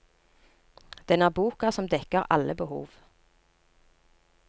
Den er boka som dekker alle behov.